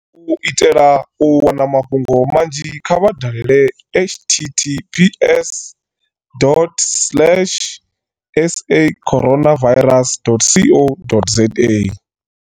U itela u wana mafhungo manzhi kha vha dalele https.sacoronavirus.co.za.